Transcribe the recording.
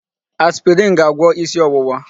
Aspirin ga-agwọ isi ọwụwa.